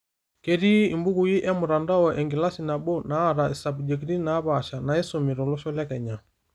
Ketii imbukui emtandao, enkilasi nabo naata isabjekti napaasha naisumi tolosho le Kenya